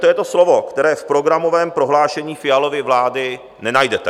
to je to slovo, které v programovém prohlášení Fialovy vlády nenajdete.